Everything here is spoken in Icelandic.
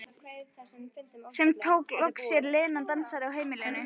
Sem tók hann loks að sér, Lena dansarinn á heimilinu.